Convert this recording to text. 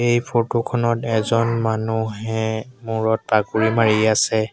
এই ফটো খনত এজন মানুহে মূৰত পাগুৰী মাৰি আছে।